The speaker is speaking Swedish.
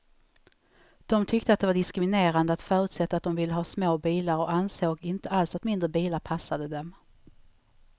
De tyckte att det var diskriminerande att förutsätta att de ville ha små bilar, och ansåg inte alls att mindre bilar passade dem.